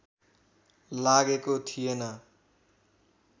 लागेको थिएन